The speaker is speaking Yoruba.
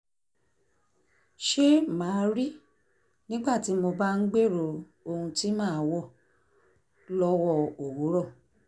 ṣe máa rí nígbà tí mo bá ń gbèrò ohun tí màá wọ̀ lọ́wọ́ òwúrọ̀